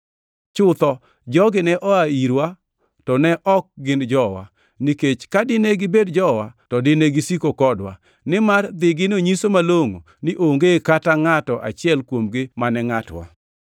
Chutho, jogi ne oa irwa to ne ok gin jowa. Nikech ka dine gin jowa to dine gisiko kodwa, nimar dhigino nyiso malongʼo ni onge kata ngʼato achiel kuomgi mane ngʼatwa.